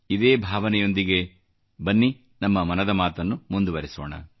ಇದೇ ಭಾವನೆಯೊಂದಿಗೆ ಬನ್ನಿ ನಮ್ಮ ಮನದ ಮಾತನ್ನು ಮುಂದುವರೆಸೋಣ